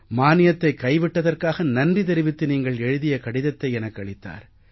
மானியத்தைக் கைவிட்டதற்காக நன்றி தெரிவித்து நீங்கள் எழுதிய கடிதத்தை எனக்களித்தார்